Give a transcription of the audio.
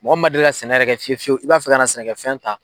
Mɔgɔ min ma deli ka sɛnɛ yɛrɛ kɛ fiye fiyu i b'a fɛ ka na sene kɛ fɛn ta.